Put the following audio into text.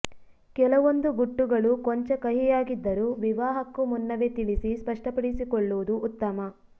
ಕೆಲವೊಂದು ಗುಟ್ಟುಗಳು ಕೊಂಚ ಕಹಿಯಾಗಿದ್ದರೂ ವಿವಾಹಕ್ಕೂ ಮುನ್ನವೇ ತಿಳಿಸಿ ಸ್ಪಷ್ಟಪಡಿಸಿಕೊಳ್ಳುವುದು ಉತ್ತಮ